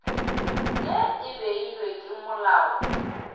ye e beilwego ke molao